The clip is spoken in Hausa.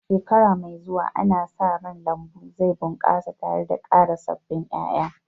A shekara mai zuwa, ana sa ran lambun zai bunƙasa tare da ƙara sabbin ƴaƴa